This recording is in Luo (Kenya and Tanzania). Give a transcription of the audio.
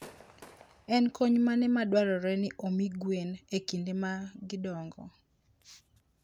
En kony mane madwarore ni omi gwen e kinde ma gidongo?